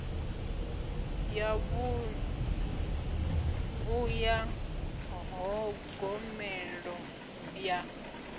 ya vhunḓu ya ṱhogomelo ya